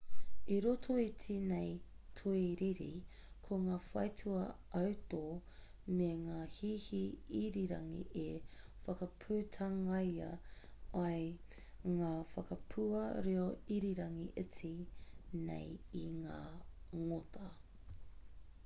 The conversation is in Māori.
i roto i tēnei tōiriiri ko ngā whaitua autō me ngā hihi irirangi e whakaputangia ai ngā whakapua reo irirangi iti nei e ngā ngota